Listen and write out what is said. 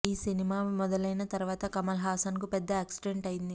ఈ సినిమా మొదలైన తర్వాత కమల్ హాసన్ కు పెద్ద యాక్సిడెంట్ అయ్యింది